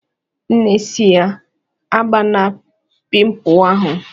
Nne si ya "Agbana pịmpul ahụ!"